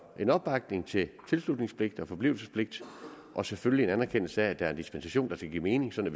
en opbakning til tilslutningspligt og forblivelsespligt og selvfølgelig en anerkendelse af at der er en dispensation der skal give mening sådan